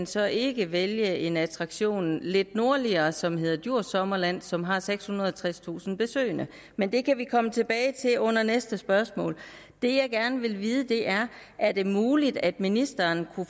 så ikke kan vælge en attraktion lidt nordligere som hedder djurs sommerland og som har sekshundrede og tredstusind besøgende men det kan vi komme tilbage til under næste spørgsmål det jeg gerne vil vide er er det muligt at ministeren kunne